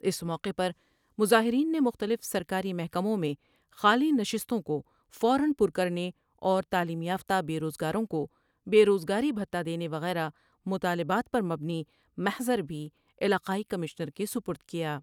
اس موقعے پر مظاہرین نے مختلف سرکاری محکموں میں خالی نشستوں کو فو را پر کر نے اور تعلیم یافتہ بے روز گاروں کو بے روز گاری بھتہ دینے وغیرہ مطالبات پر مبنی محضر بھی علاقائی کمشنر کے سپر د کیا ۔